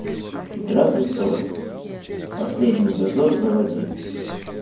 игра престолов последний дозор заводи